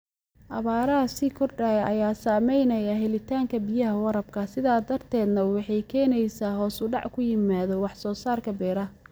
Abaaraha sii kordhaya ayaa saameynaya helitaanka biyaha waraabka, sidaas darteedna waxay keenaysaa hoos u dhac ku yimaada wax soo saarka beeraha.